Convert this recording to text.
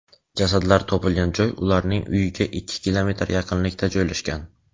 Jasadlar topilgan joy ularning uyiga ikki kilometr yaqinlikda joylashgan.